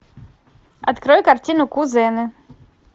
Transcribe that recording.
открой картину кузены